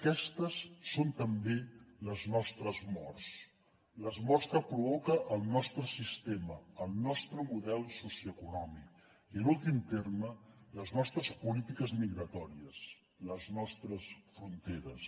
aquestes són també les nostres morts les morts que provoca el nostre sistema el nostre model socioeconòmic i en últim terme les nostres polítiques migratòries les nostres fronteres